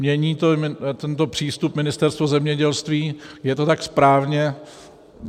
Mění tento přístup Ministerstvo zemědělství, je to tak správně.